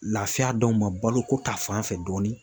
Lafiya d'anw ma baloko ta fan fɛ dɔɔni